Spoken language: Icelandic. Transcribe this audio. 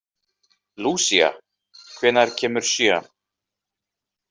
Lucia, hvenær kemur sjöan?